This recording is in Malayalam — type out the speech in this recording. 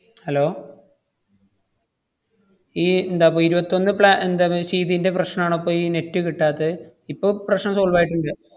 hello ഈ എന്താപ്പോ ഇരുവത്തൊന്ന് pla~ ന്‍റെ ചെയ്തേന്‍റെ പ്രശ്‌നാണോ ഇപ്പയീ net കിട്ടാത്തെ? ഇപ്പ പ്രശ്നം solve ആയിട്ട്ണ്ട്.